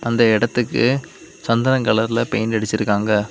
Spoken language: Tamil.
இந்த எடத்துக்கு சந்தன கலர்ல பெயிண்ட் அடிச்சுருக்காங்க.